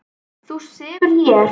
Þú sefur hér.